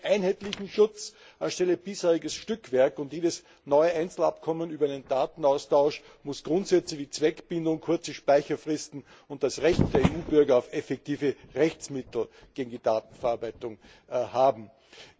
Wir brauchen einen einheitlichen Schutz anstelle des bisherigen Stückwerks, und jedes neue Einzelabkommen über den Datenaustausch muss Grundsätze wie Zweckbindung, kurze Speicherfristen und das Recht der EU Bürger auf effektive Rechtsmittel gegen die Datenverarbeitung enthalten.